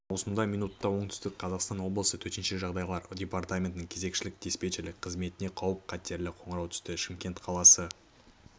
маусымда минутта оңтүстік қазақстан облысы төтенше жағдайлар департаментінің кезекшілік-диспетчерлік қызметіне қауіп-қатерлі қоңырау түсті шымкент қаласы